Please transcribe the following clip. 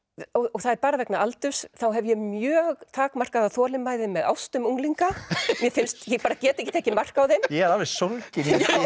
það er bara vegna aldurs þá hef ég mjög takmarkaða þolinmæði með ástum unglinga ég bara get ekki tekið mark á þeim ég er alveg sólginn